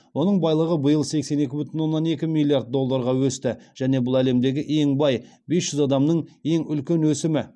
оның байлығы биыл сексен екі бүтін оннан екі миллиард долларға өсті және бұл әлемдегі ең бай бес жүз адамның ең үлкен өсімі